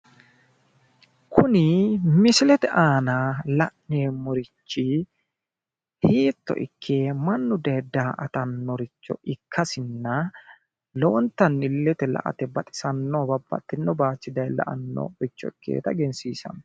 kuni misilete aana la'neemorichi hiitto ikke mannu daye da"attannorocho ikkasinna lowontanni illete la"ate baxisanno babbaxxeyo bayiichi daye la"annoricho ikkeyoota egensiisanno